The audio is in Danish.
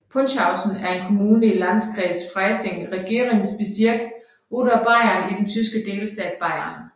Paunzhausen er en kommune i Landkreis Freising Regierungsbezirk Oberbayern i den tyske delstat Bayern